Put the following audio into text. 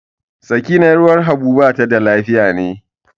Sakina 'yar uwar Habu bata da lafiya ne.